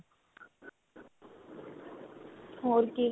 ਹੋਰ ਕੀ